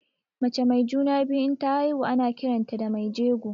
Mace mai juna-biyu inta haihu ana kiranta da mai jego.